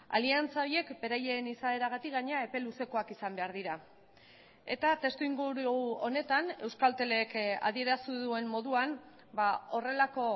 aliantza horiek beraien izaeragatik gainera epe luzekoak izan behar dira eta testu inguru honetan euskaltelek adierazi duen moduan horrelako